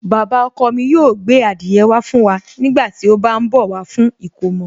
Baba ọkọ mi yóò gbé adìyẹ wá fún wa nígbà tí ó bá ń bọ̀ wá fún ìkomọ̀